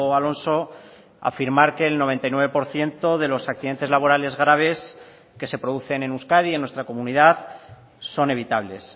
alonso afirmar que el noventa y nueve por ciento de los accidentes laborales graves que se producen en euskadi en nuestra comunidad son evitables